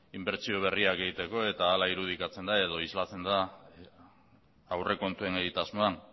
inbertsio berriak egiteko eta hara irudikatzen da edo islatzen da aurrekontuen egitasmoan